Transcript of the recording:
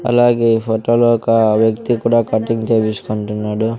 అలాగే ఈ ఫొటోలో ఒక వ్యక్తి కూడా కటింగ్ చేపించుకుంటున్నాడు.